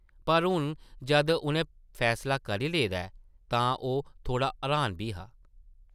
पर हून जद उʼन्नै फैसला करी लेदा ऐ तां ओह् थोह्ड़ा र्हान बी हा ।